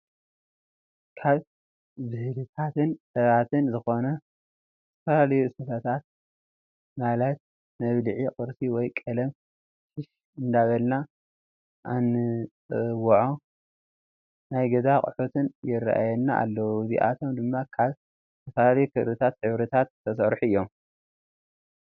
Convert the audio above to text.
ካብ ብህልታትን ጥበባትን ዝኮኑ ዝተፈላለዩ ስፈታተ ማለት መብልዒ ቁርሲ ወይ ቀለም ሽሽ እንዳበልና አንፅዎዖ ናይ ገዛ ኣቁሑት የረኣይና ኣለው ፣እዚኣቶም ድማ ካብ ዝተፈላለዩ ክሪታት ሕብሪታት ዝተሰረሑ እዮም።